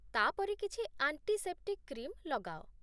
ତା'ପରେ କିଛି antiseptic cream ଲଗାଅ